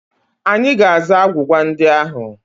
Anyị ga-aza agwụgwa ndị ahụ.